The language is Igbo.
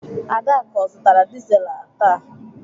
Adaku ọ zụtara dizelu taa?